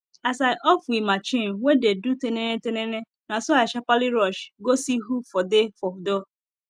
as i off we machine wen dey do tininitinini naso i sharperly rush go see who for dey for door